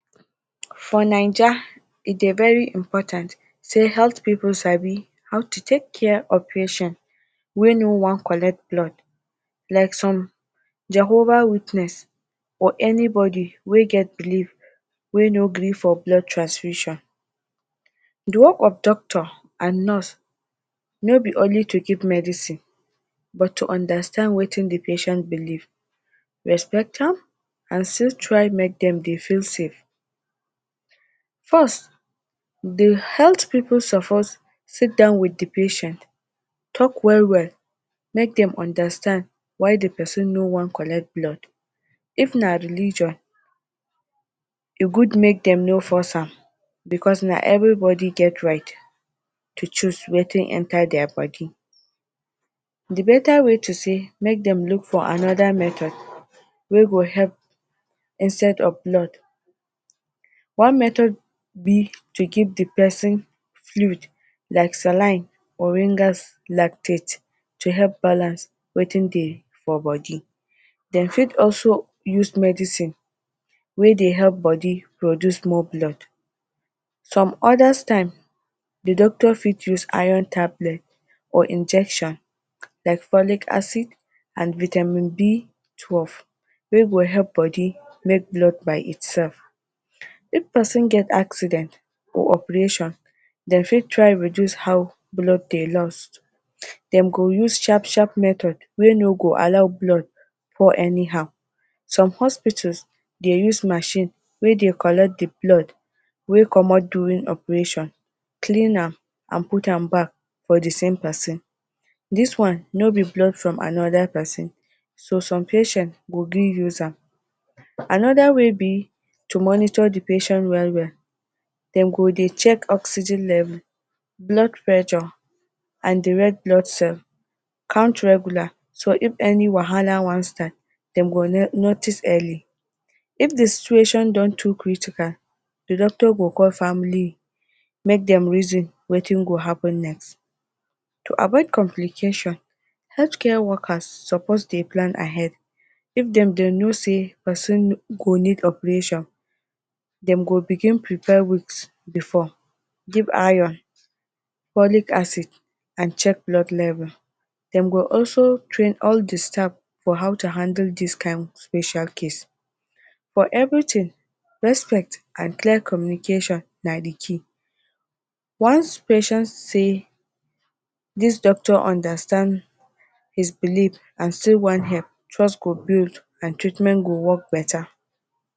For ninja e de very important sey health pipu sabi how to take care of patient wey no want collect blood like some Jehovah witness or any body wey get believe wey no gree for blood transmission. De work of doctor and nurse no be only to give medicine, but to understand wetin de patient believe respect am, and still try de make dem dey feel save. First, de health pipu suppose seat down with de patient talk well well make dem understand why de person no wan collect blood if na religion e good make dem no force am because na every body get right to choose wetin enter their body. de beta way to sey let dem look for another method wey go help instead of blood one method be to give de person fluid like, ]cs] to help balance wetin de for body. Den fit also use medicine whey dey help body produce more blood some other times de doctor fit use iron tablet or injection like folic acid and vitamin B twelve wey go help body make blood by itself. If person get accident or operation dem fit try reduce how blood de lost dem go use sharp sharp method wey no go allow blood fall anyhow some hospitals de use machine wey de collect de blood wey comot during operation clean am and put am back for de same person dis one no be blood rom another person so some patients go gree use am and way be to monitor de patient well well dem go de check oxygen level blood pressure and d red blood sale count regular so if any wahala wan start dem go notice early if de situation don too critical de doctor go call family make dem reason wetin go happen next. to avoid complications health care workers suppose de plan ahead if dem go know sey person go need operation dem go begin dey prepare weeks before give iron, folic acid and check blood level dem go also train all de staff for how to handle dis kind special case for every thing respect and clear communication na de key once patient sey dis doctor understand his believe ans still want help trust could build and treatment go work beta